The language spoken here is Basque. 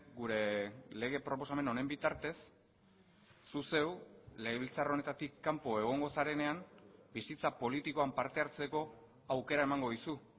gure lege proposamen honen bitartez zu zeu legebiltzar honetatik kanpo egongo zarenean bizitza politikoan parte hartzeko aukera emango dizu